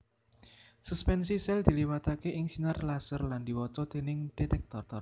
Suspensi sèl diliwataké ing sinar laser lan diwaca déning detektor